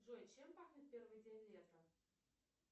джой чем пахнет первый день лета